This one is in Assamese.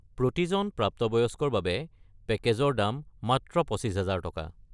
প্ৰতিজন প্ৰাপ্তবয়স্কৰ বাবে পেকে'জৰ দাম মাত্ৰ ২৫ হাজাৰ টকা।